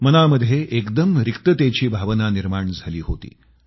मनामध्ये एकदम रिक्ततेची भावना निर्माण झाली होती